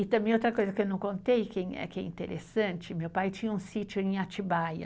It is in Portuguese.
E também outra coisa que eu não contei, que é, que é interessante, meu pai tinha um sítio em Atibaia.